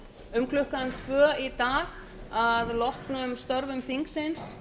um klukkan tvö í dag að loknum störfum þingsins